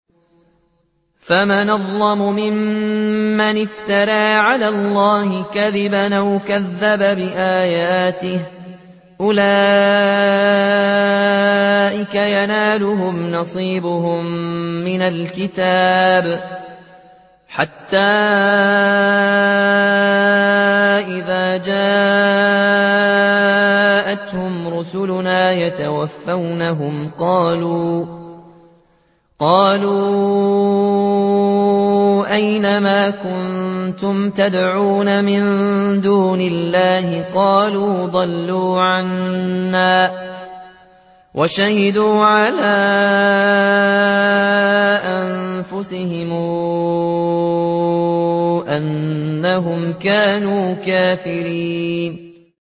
فَمَنْ أَظْلَمُ مِمَّنِ افْتَرَىٰ عَلَى اللَّهِ كَذِبًا أَوْ كَذَّبَ بِآيَاتِهِ ۚ أُولَٰئِكَ يَنَالُهُمْ نَصِيبُهُم مِّنَ الْكِتَابِ ۖ حَتَّىٰ إِذَا جَاءَتْهُمْ رُسُلُنَا يَتَوَفَّوْنَهُمْ قَالُوا أَيْنَ مَا كُنتُمْ تَدْعُونَ مِن دُونِ اللَّهِ ۖ قَالُوا ضَلُّوا عَنَّا وَشَهِدُوا عَلَىٰ أَنفُسِهِمْ أَنَّهُمْ كَانُوا كَافِرِينَ